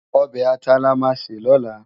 Òbè àtá làmá sé lòlá